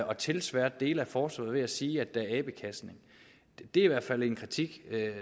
at tilsværte dele af forsvaret ved at sige at der er abekastning er i hvert fald en kritik